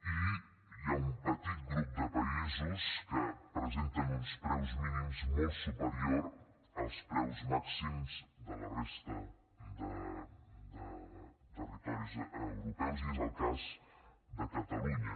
i hi ha un petit grup de països que presenten uns preus mínims molt superiors als preus màxims de la resta de territoris europeus i és el cas de catalunya